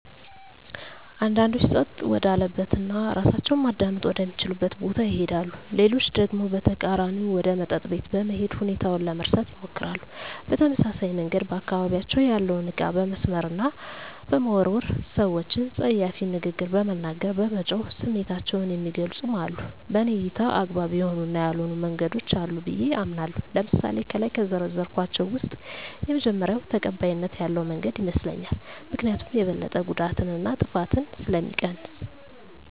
አንዳንዶች ፀጥታ ወዳለበት እና እራሳቸውን ማዳመጥ ወደ ሚችሉበት ቦታ ይሄዳሉ። ሌሎች ደግሞ በተቃራኒው ወደ መጠጥ ቤት በመሄድ ሁኔታውን ለመርሳት ይሞክራሉ። በተመሳሳይ መንገድ በአካባቢያቸው ያለውን እቃ በመስበር እና በመወርወር፣ ሰወችን ፀያፍ ንግግር በመናገር፣ በመጮህ ስሜታቸውን የሚገልፁም አሉ። በኔ እይታ አግባብ የሆኑ እና ያልሆኑ መንገዶች አሉ ብየ አምናለሁ። ለምሳሌ ከላይ ከዘረዘርኳቸው ውስጥ የመጀመሪው ተቀባይነት ያለው መንገድ ይመስለኛል። ምክኒያቱም የበለጠ ጉዳትን እና ጥፋትን ስለሚቀንስ።